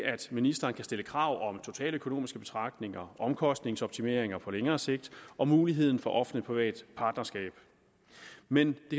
ministeren kan stille krav om totaløkonomiske betragtninger omkostningsoptimeringer på længere sigt og muligheden for offentlig privat partnerskab men det